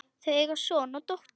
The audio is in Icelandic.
Þau eiga son og dóttur.